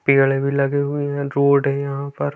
पेड़ भी लगे हुए है रोड है यहाँ पर।